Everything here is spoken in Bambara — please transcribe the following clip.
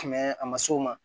Mɛ a ma s'o ma